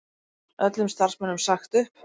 Öllum starfsmönnum sagt upp